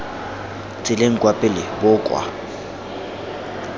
tseleng kwa pele bo kwa